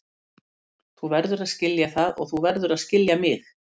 Þú verður að skilja það og þú verður að skilja mig.